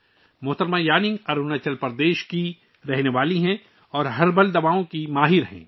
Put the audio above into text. محترمہ یانونگ اروناچل پردیش کی رہنے والی ہیں اور جڑی بوٹیوں کی ماہر ہیں